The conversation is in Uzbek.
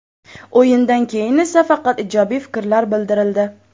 O‘yindan keyin esa faqat ijobiy fikrlar bildirildi.